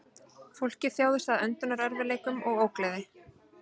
Fólkið þjáðist af öndunarerfiðleikum og ógleði